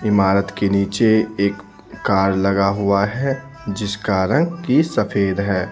इमारत के नीचे एक कार लगा हुआ है जिसका रंग की सफेद है।